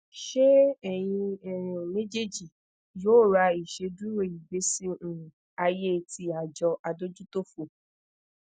ṣe eyin um mejeeji yoo ra iṣeduro igbesi um aye ti ajo adojutofo